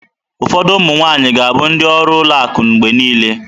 Ụfọdụ ụmụ nwaanyị ga-abụ ndị ọrụ ụlọ akụ mgbe niile.